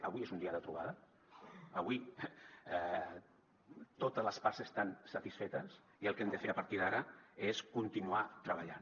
avui és un dia de trobada avui totes les parts estan satisfetes i el que hem de fer a partir d’ara és continuar treballant